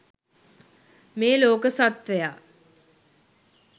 මේ ලෝක සත්ත්වයා